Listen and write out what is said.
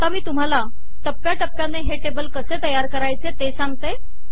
आता मी तुम्हांला टप्प्या टप्प्याने हे टेबल कसे तयार करायचे ते सांगते